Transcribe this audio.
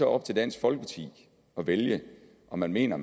op til dansk folkeparti at vælge om man mener